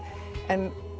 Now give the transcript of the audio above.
en